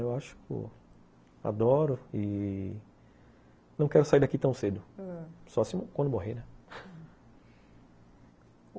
Eu acho que adoro e não quero sair daqui tão cedo, ãh, só quando morrer, né, ah